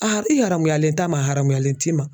i haramuyalen t'a ma a haramuyalen t'i ma.